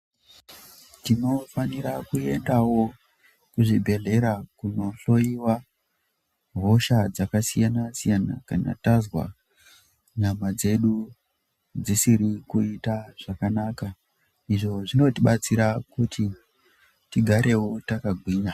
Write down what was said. Tinofanira kuendawo kuzvibhedhlera kunohloiwa hosha dzakasiyana-siyana, kana tazwa nyama dzedu dzisiri kuita zvakanaka. Izvo zvinotibatsira kuti tigarewo takagwinya.